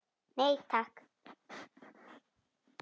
Nei, takk.